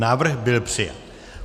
Návrh byl přijat.